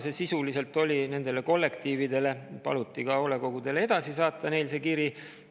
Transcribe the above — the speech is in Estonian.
Sisuliselt oli see kiri mõeldud nendele kollektiividele, aga paluti edasi saata ka hoolekogudele.